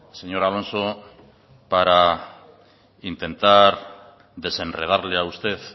señor alonso para intentar desenredarle a usted